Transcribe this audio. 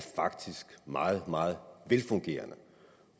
faktisk meget meget velfungerende